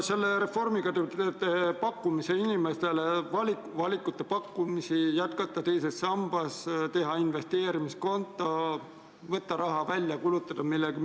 Selle reformiga te pakute inimestele valikut jätkata teises sambas või teha investeerimiskonto või võtta raha välja ja kulutada midagi.